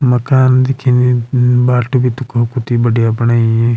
मकान दिखेणी भी दिखो कती बढ़िया बणाई ।